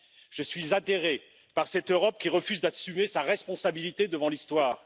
Je suis atterré par cette Europe qui refuse d'assumer sa responsabilité devant l'Histoire.